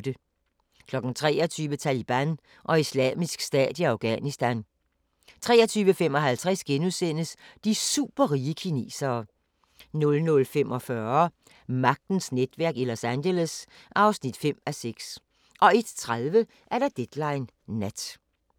23:00: Taliban og Islamisk Stat i Afghanistan 23:55: De superrige kinesere * 00:45: Magtens netværk i Los Angeles (5:6) 01:30: Deadline Nat